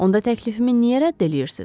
Onda təklifimi niyə rədd eləyirsiz?